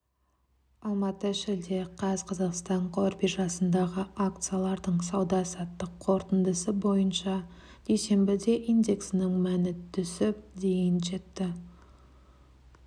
алматы шілде қаз қазақстан қор биржасындағы акциялардың сауда-саттық қорытындысы бойынша дүйсенбіде индексінің мәні түсіп дейін жетті